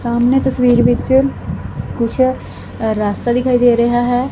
ਸਾਹਮਣੇ ਤਸਵੀਰ ਵਿੱਚ ਕੁਛ ਰਾਸਤਾ ਦਿਖਾਈ ਦੇ ਰਿਹਾ ਹੈ।